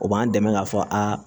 O b'an dɛmɛ k'a fɔ aa